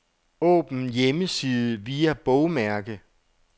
Åbn hjemmeside via bogmærke.